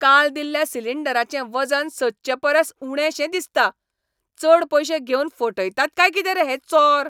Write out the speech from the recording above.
काल दिल्ल्या सिलिंडराचें वजन सदचे परस उणेंशें दिसता. चड पयशे घेवन फटयतात काय कितें रे हे चोर!